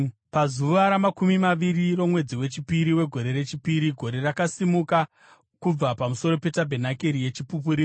Pazuva ramakumi maviri romwedzi wechipiri, wegore rechipiri, gore rakasimuka kubva pamusoro petabhenakeri yeChipupuriro.